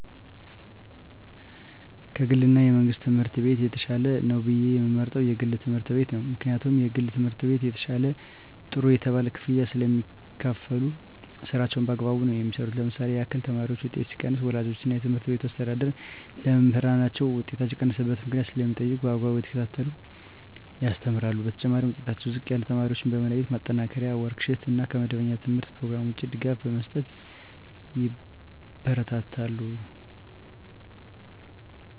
ከ ግል እና የመንግሥት ትምህርት ቤት የተሻለ ነው ብየ የምመርጠው የግል ትምህርት ቤት ነው ምክንያቱም የግል ትምህርት ቤት የተሻለ ጥሩ የተባለ ክፍያ ስለሚካፈሉ ስራቸውን በአግባቡ ነው የሚሠሩ ለምሳሌ ያክል የተማሪዎች ውጤት ሲቀንስ ወላጆች እና የትምህርት ቤቱ አስተዳዳሪ ለመምህራን ውጤታቸው የቀነሰበት ምክንያት ስለሚጠይቁ በአግባቡ እየተከታተሉ ያስተምራሉ በተጨማሪ ዉጤታቸው ዝቅ ያለ ተማሪዎችን በመለየት ማጠናከሪያ ወርክ ሽት እና ከመደበኛ የተምህርት ኘሮግራም ውጭ ድጋፍ በመስጠት ያበረታታሉ።